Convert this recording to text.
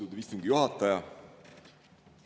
Austatud istungi juhataja!